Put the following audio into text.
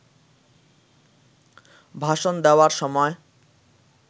ভাষণ দেওয়ার সময়